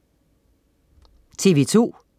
TV2: